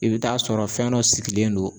I be taa sɔrɔ fɛn dɔ sigilen don